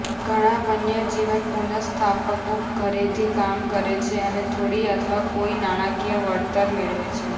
ઘણાં વન્યજીવન પુનઃસ્થાપકો ઘરેથી કામ કરે છે અને થોડી અથવા કોઈ નાણાકીય વળતર મેળવે છે